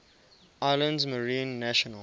islands marine national